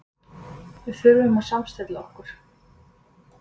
Við þurfum að samstilla okkur.